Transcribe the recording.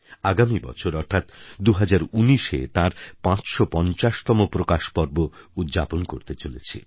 আগামী বছর অর্থাৎ ২০১৯এ তাঁর ৫৫০তম প্রকাশ পর্ব উদ্যাপন করতে চলেছি